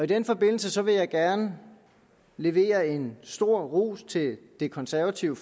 den forbindelse vil jeg gerne levere en stor ros til det konservative